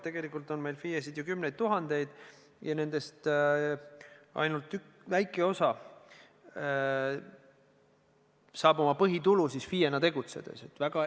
Tegelikult on meil FIE-sid ju kümneid tuhandeid ja nendest ainult väike osa saab oma põhitulu FIE-na tegutsedes.